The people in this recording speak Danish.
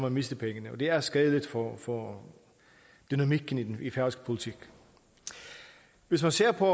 at miste pengene og det er skadeligt for for dynamikken i færøsk politik hvis man ser på